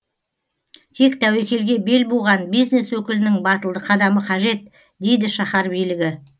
тек тәуекелге бел буған бизнес өкілінің батылды қадамы қажет дейді шаһар билігі